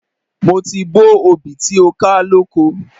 Mo ti bó obì tí ó ká lóko.